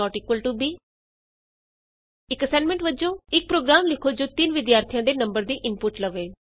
ab ਇਕ assignment ਵਜੋਂ ਇਕ ਪ੍ਰੋਗਰਾਮ ਲਿਖੋ ਜੋ ਤਿੰਨ ਵਿਦਿਆਰਥੀਆਂ ਦੇ ਨੰਬਰ ਦੀ ਇਨਪੁਟ ਲਵੇ